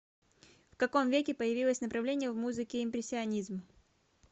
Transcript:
в каком веке появилось направление в музыке импрессионизм